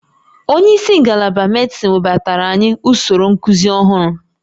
Onye isi ngalaba medịsịn webatara anyị usoro nkuzi ọhụrụ